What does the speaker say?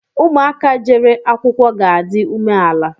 Ụmụ aka jere akwụkwọ ga-adi ume ala